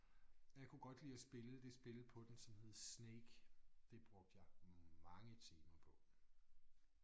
Og jeg kunne godt lide at spille det spil på den som hed Snake. Det brugte jeg mange timer på